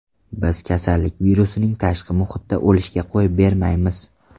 Biz kasallik virusining tashqi muhitda o‘lishiga qo‘yib bermayapmiz.